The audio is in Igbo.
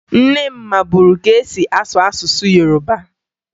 Nne m maburu ka e si asụ asụsụ Yoroba